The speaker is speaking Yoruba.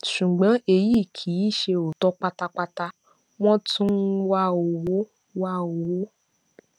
ṣùgbọn èyí kì í ṣe òótọ pátápátá wọn tún ń wá owó wá owó